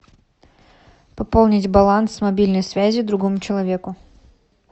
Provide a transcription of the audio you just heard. пополнить баланс мобильной связи другому человеку